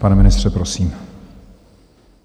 Pane ministře, prosím.